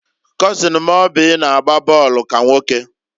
kọzin m Oby na-agba bọọlụ ka nwoke.